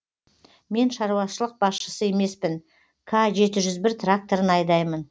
мен шаруашылық басшысы емеспін к жеті жүз бір тракторын айдаймын